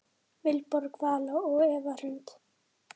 Vilborg Vala og Eva Hrund.